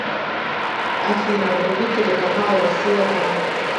афина вруби телеканал россия к